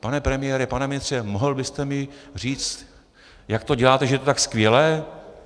Pane premiére, pane ministře, mohl byste mi říci, jak to děláte, že je to tak skvělé?